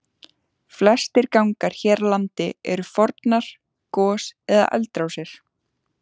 Flestir gangar hér á landi eru fornar gos- eða eldrásir.